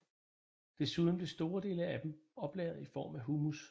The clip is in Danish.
Desuden bliver store dele af dem oplagret i form af humus